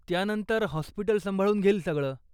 त्यानंतर, हॉस्पिटल सांभाळून घेईल सगळं.